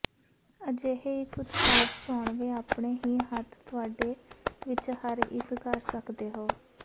ਅਜਿਹੇ ਇੱਕ ਉਤਪਾਦ ਚੋਣਵੇ ਆਪਣੇ ਹੀ ਹੱਥ ਤੁਹਾਡੇ ਵਿੱਚ ਹਰ ਇੱਕ ਕਰ ਸਕਦੇ ਹੋ